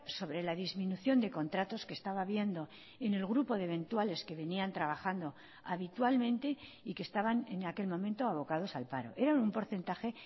sobre la disminución de contratos que estaba habiendo en el grupo de eventuales que venían trabajando habitualmente y que estaban en aquel momento abocados al paro eran un porcentaje